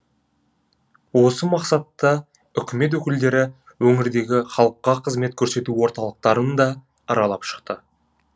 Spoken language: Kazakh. осы мақсатта үкімет өкілдері өңірдегі халыққа қызмет көрсету орталықтарын да аралап шықты